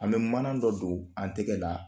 An bɛ mana dɔ don an tɛgɛ la